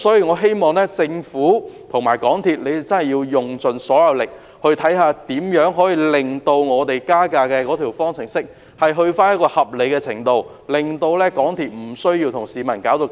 我希望政府和港鐵公司盡力研究如何令加價方程式回復到合理程度，令港鐵公司不用與市民對立。